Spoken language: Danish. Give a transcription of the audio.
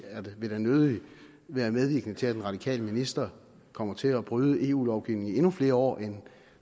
vil da nødig være medvirkende til at en radikal minister kommer til at bryde eu lovgivningen i endnu flere år end